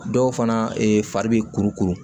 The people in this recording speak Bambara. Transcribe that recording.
Dɔw fana e fari bɛ kuru kuru